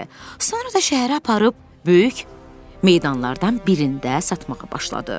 Sonra da şəhərə aparıb böyük meydanlardan birində satmağa başladı.